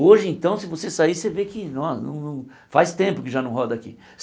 Hoje, então, se você sair, você vê que no não não faz tempo que já não roda aqui.